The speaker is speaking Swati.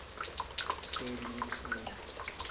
sentfutfuko